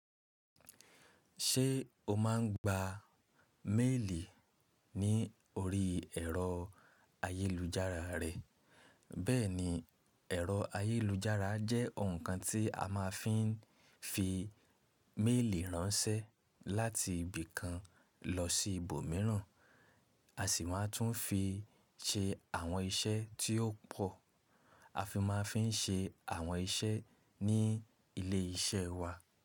Ṣé o máa ń gba méèlì ní orí ẹ̀rọ ayélujára rẹ? Bẹ́ẹ̀ni, ẹ̀rọ ayélujára jẹ́ ǹkan tí a máa ń fi fi méèlì ránṣẹ́ láti ibì kan lọ sí ibòmíràn, a sì máa tún fi ṣe àwọn iṣẹ́ tí ó pò, a fi máa fi n ṣe àwọn iṣẹ́ ní ilé iṣẹ́ wa.